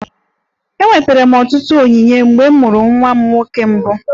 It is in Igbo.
Enwetara m ọtụtụ onyinye mgbe m mụrụ nwa m nwoke mbụ